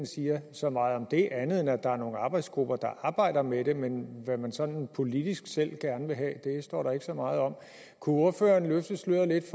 siger så meget om det andet end at der er nogle arbejdsgrupper der arbejder med det men hvad man sådan politisk selv gerne vil have står der ikke så meget om kunne ordføreren løfte sløret lidt